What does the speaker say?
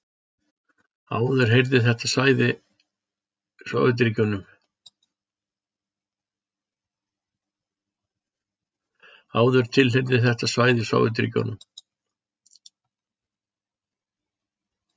Áður tilheyrði þetta svæði Sovétríkjunum.